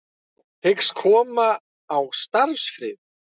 Hyggst koma á starfsfriði